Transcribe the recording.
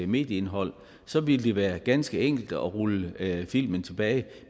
medieindhold så ville det være ganske enkelt at rulle filmen tilbage